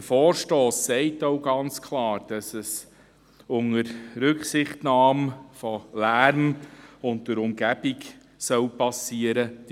Der Vorstoss sagt auch ganz klar, dass die ganze Geschichte unter Rücksichtnahme in Bezug auf Lärm und Umgebung geschehen soll.